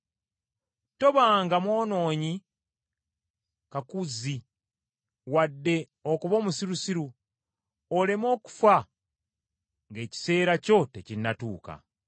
Tobanga mwonoonyi kakuzzi wadde okuba omusirusiru; oleme okufa ng’ekiseera kyo tekinnatuuka.